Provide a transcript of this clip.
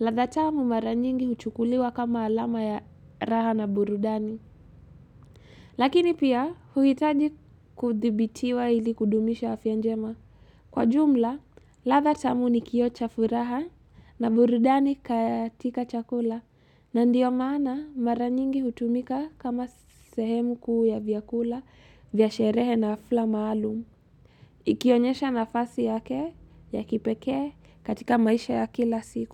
ladha tamu mara nyingi huchukuliwa kama alama ya raha na burudani. Lakini pia, huitaji kuthibitiwa ili kudumisha afya njema. Kwa jumla, ladha tamu ni kioo cha furaha na burudani katika chakula. Ndiyo maana, mara nyingi hutumika kama sehemu kuu ya vyakula, vyasherehe na afla maalum. Ikionyesha nafasi yake, ya kipekee katika maisha ya kila siku.